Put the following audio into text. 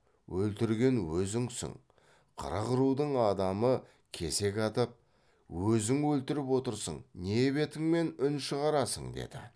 өлтірген өзіңсің қырық рудың адамы кесек атып өзің өлтіріп отырсың не бетіңмен үн шығарасың деді